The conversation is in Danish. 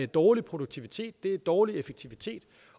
dårlig produktivitet det er dårlig effektivitet